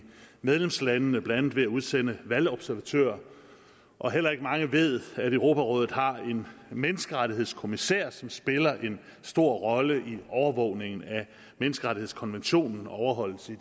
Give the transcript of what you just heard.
medlemslandene blandt andet ved at udsende valgobservatører og heller ikke mange ved at europarådet har en menneskerettighedskommissær som spiller en stor rolle i overvågningen af menneskerettighedskonventionens overholdelse i